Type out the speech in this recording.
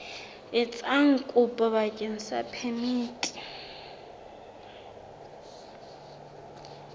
etsa kopo bakeng sa phemiti